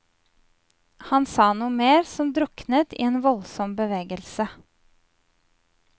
Han sa noe mer som druknet i en voldsom bevegelse.